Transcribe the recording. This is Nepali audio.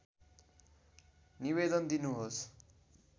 निवेदन दिनुहोस्